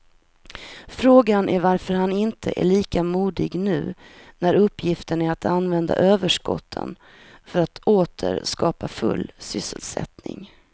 Frågan är varför han inte är lika modig nu när uppgiften är att använda överskotten för att åter skapa full sysselsättning.